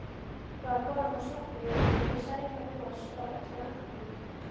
Var konan þá sofnuð með sælunnar bros á öllu andlitinu.